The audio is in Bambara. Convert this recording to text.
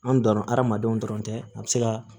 An donna hadamadenw dɔrɔn tɛ a bɛ se ka